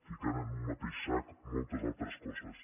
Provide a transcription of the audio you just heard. ficant en un mateix sac moltes altres coses